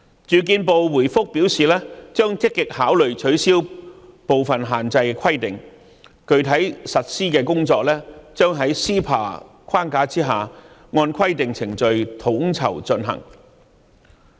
住建部回覆表示將積極考慮取消部分限制，具體實施的工作將在 CEPA 框架下，按規定程序統籌進行。